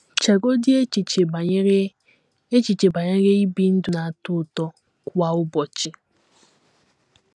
Chegodị echiche banyere echiche banyere ibi ndụ ‘ na - atọ ụtọ ’ kwa ụbọchị!